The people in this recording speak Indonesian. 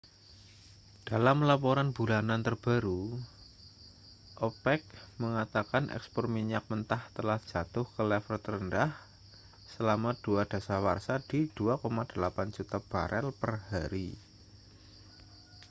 dalam laporan bulanan terbaru opec mengatakan ekspor minyak mentah telah jatuh ke level terendah selama dua dasawarsa di 2,8 juta barel per hari